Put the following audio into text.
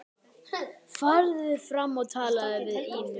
Farðu fram og talaðu við Ínu.